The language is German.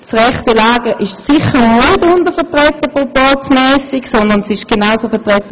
Das rechte Lager ist aus Sicht des Proporzes sicher nicht untervertreten.